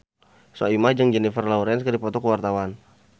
Soimah jeung Jennifer Lawrence keur dipoto ku wartawan